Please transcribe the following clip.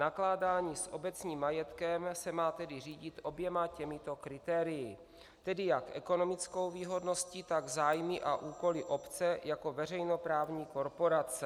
Nakládání s obecním majetkem se má tedy řídit oběma těmito kritérii, tedy jak ekonomickou výhodností, tak zájmy a úkoly obce jako veřejnoprávní korporace.